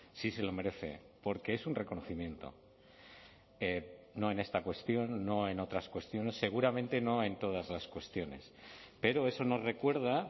sí se lo merece porque es un reconocimiento no en esta cuestión no en otras cuestiones seguramente no en todas las cuestiones pero eso nos recuerda